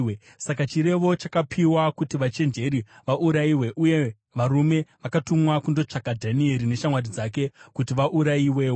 Saka chirevo chakapiwa kuti vachenjeri vaurayiwe, uye varume vakatumwa kundotsvaka Dhanieri neshamwari dzake kuti vaurayiwewo.